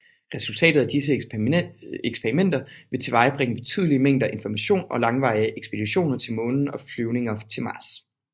Resultatet af disse eksperimenter vil tilvejebringe betydelige mængder information til langvarige ekspeditioner til Månen og flyvninger til Mars